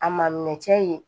A ma mɛn cɛ ye